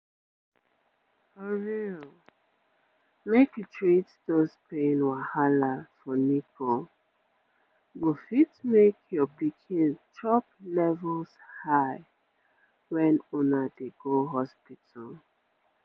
for real make you treat those pain wahala for nipple go fit make your pikin chop levels high wen una dey go hospital